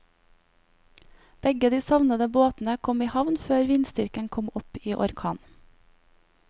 Begge de savnede båtene kom i havn før vindstyrken kom opp i orkan.